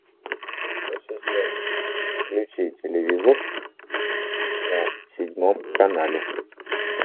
ассистент включи телевизор на седьмом канале